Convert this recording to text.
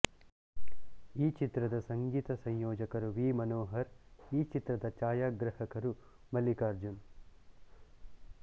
ಈ ಚಿತ್ರದ ಸಂಗೀತ ಸಂಯೋಜಕರು ವಿ ಮನೋಹರ್ ಈ ಚಿತ್ರದ ಛಾಯಾಗ್ರಹಕರು ಮಲ್ಲಿಕಾರ್ಜುನ್